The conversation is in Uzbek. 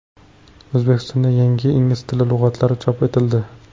O‘zbekistonda yangi ingliz tili lug‘atlari chop etildi.